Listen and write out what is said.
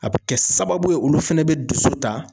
A bi kɛ sababu ye olu fɛnɛ bi dusu ta